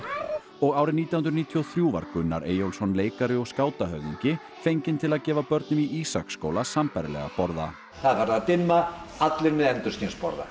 og árið nítján hundruð níutíu og þrjú var Gunnar Eyjólfsson leikari og skátahöfðingi fenginn til að gefa börnum í Ísaksskóla sambærilega borða það er farið að dimma allir með endurskinsborða